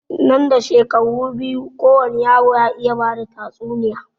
Nan da shekaru biyu kowani yaro ya iya bada tatsuniya